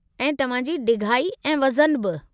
ऐं तव्हां जी ढिघाई ऐं वज़न बि।